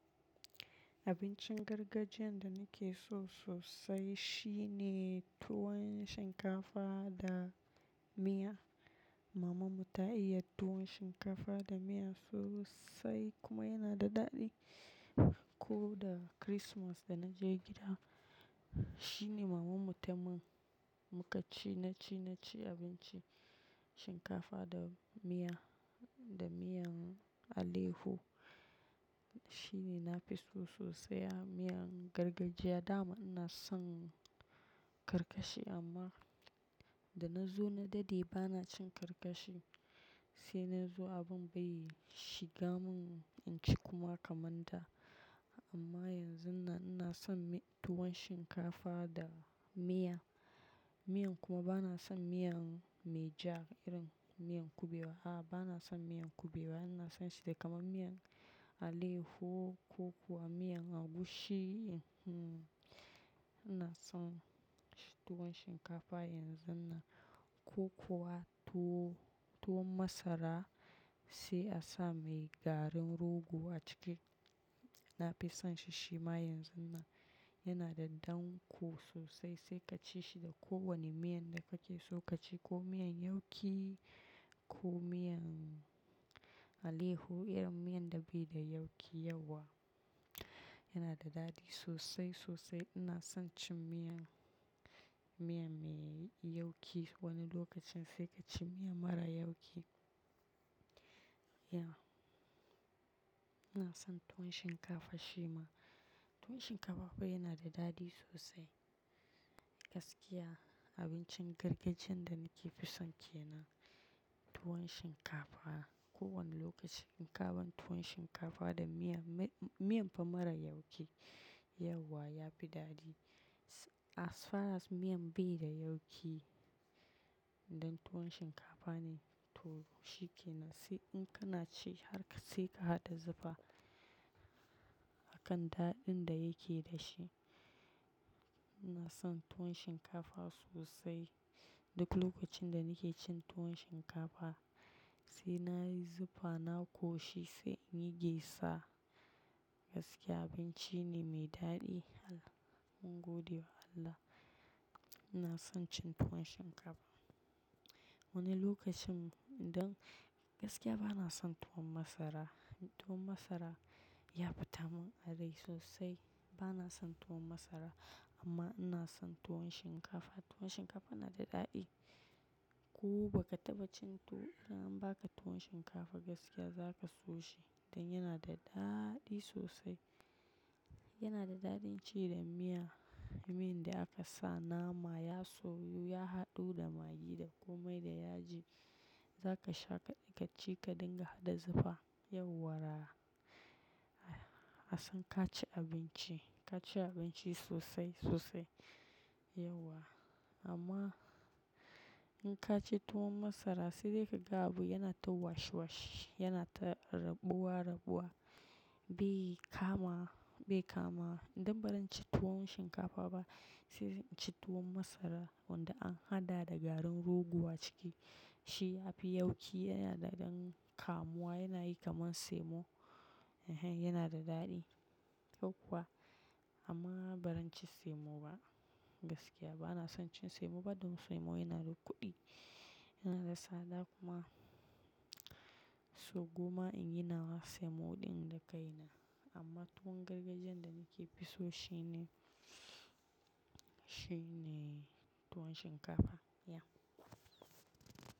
Abincin gargajiyan da nake so sosai shine tuwon shinkafa da miya. Maman mu ta iya tuwon shinkafa da miya sosai kuma yana da daɗi. Ko da chrismas da na je gida, shine maman mu ta min muka ci, na ci, na ci abincin, shinkafa da miya, da miyan aleho. Shine nafi so sosai a miyan gargajiya. Dama ina son karkashi amma da na zo na daɗe bana cin karkashi. Sai na zo abin bai shiga mun in ci kuma kaman da. Amma yanzun nan ina son tuwon shinkafa da miya. Miyan kuma bana son miyan mai ja, irin miyan kuɓewa. A'a, bana son miyan kuɓewa. Ina son shi da kaman miyan aleho, koko, miyan agushi, hmmm. Ina son tuwon shinkafa yanzun nan, ko kuwa tuwo, tuwon masara sai a sa mai garin rogo a ciki. Nafi son shi shima yanzun nan. Yana da danƙo sosai sai kaci shi da kowane miyan da kake so ka ci. Ko miyan yauki, ko miyan aleho, irin miyan da bai da yauki yauwa. Yana da daɗi sosai, sosai. Ina son cin miyan, miyan me yauƙi wani lokacin sai kaci miyan mara yauƙi. Ya. Ina son tuwon shinkafa shima. Tuwon shinkafa fa yana da daɗi sosai. Gaskiya abincin gargajiyan da naka fi son kenan, tuwon shinkafa. Kowane lokaci in ka ban tuwon shinkafa da miya, miyan fa mara yauƙi, yauwa yafi daɗi. As far as miyan bai da yauƙi, idan tuwon shinkafa ne to shi kenan. Sai in kana ci har sai ka haɗa zufa a kan daɗin da yake dashi. Ina son tuwon shinkafa sosai. Duk lokacin da nake cin tuwon shinkafa sai nayi zufa, na ƙoshi sai in yi gyatsa. Gaskiya abinci ne mai daɗi. Allah, mun gode wa Allah. Ina son cin tuwon shinkafa. Wani lokacin idan-- gaskiya bana son tuwon masara. Tuwon masara ya fita mun a rai sosai. Bana son tuwon masara amma ina son tuwon shinkafa. Tuwon shinkafa na da daɗi. Ko baka taɓa cin tu-- in an baka tuwon shinkafa gaskiya zaka so shi. Dan yana da daɗi sosai. Yana da daɗin ci da miya. Miyan da aka sa nama ya soyu, ya haɗu da magi da komai da yaji. Zaka sha kaɗi, kaci ka dinga haɗa zufa. Yauwara. A san ka ci abinci, ka ci abinci sosai, sosai. Yauwa. Amma in ka ci tuwon masara sai dai kaga abu yana ta wash wash, yana ta rabuwa rabuwa. Bai kama, bai kama. Idan ba zan ci tuwon shinkafa ba sai in ci tuwon masara wanda an haɗa da garin rogo a ciki. Shi yafi yauƙi, yana da ɗan kamuwa, yana yi kaman semo. Ehen, yana da daɗi. Yauwa, amma ba zan ci semo ba. Gaskiya bana son cin semo ba, dan semo yana da kuɗi, yana da tsada kuma. So, gwamma inyi nawa semo ɗin da kai na. Amma tuwon gargajiyan da nake fi so shine, shine tuwon shinkafa. Yeah.